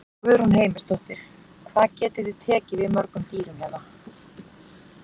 Guðrún Heimisdóttir: Hvað getið þið tekið við mörgum dýrum hérna?